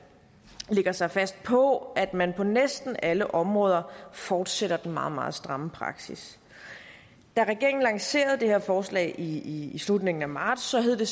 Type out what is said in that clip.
sig fast på at man på næsten alle områder fortsætter den meget meget stramme praksis da regeringen lancerede det her forslag i i slutningen af marts hed det